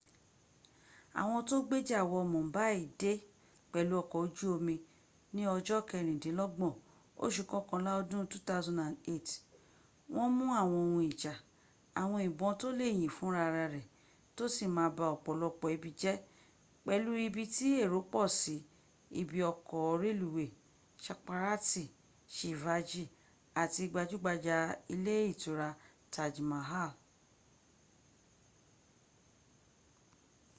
àwọn tó gbéjà wọ mumbai dé pẹ̀lú ọkọ̀ ojú omi ní ọja kẹrìndínlọ́gbọ̀n oṣù kọkànlá ọdún 2008 wọ́n mú àwọn ohun ijà àwọn ìbọn tó lè yìn fún ra rẹ̀ tó sì ma ba ọ̀pọ̀lọpọ̀ ibi, pẹ̀lú ibi tí èrò pọ̀ sí ibi ọkọ̀ rẹluwéy chhatrapati shivaji àti gbajúgbajà ilé ìtura taj mahal